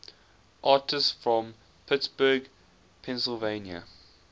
artists from pittsburgh pennsylvania